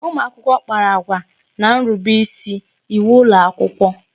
Ụmụakwụkwọ kpara agwa n'nrube isi iwu ụlọakwụkwọ